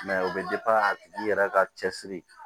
o bɛ a tigi yɛrɛ ka cɛsiri